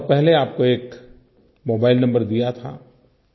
मैंने बहुत पहले आप को एक मोबाइल नंबर दिया था